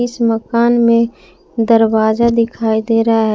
इस मकान में दरवाजा दिखाई दे रहा है।